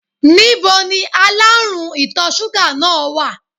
Ní bo ni aláàrùn ìtọ̀ súgà náà wà?